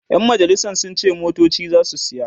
ƴan majalisan sun ce motoci zasu saya